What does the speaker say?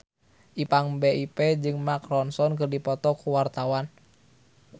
Ipank BIP jeung Mark Ronson keur dipoto ku wartawan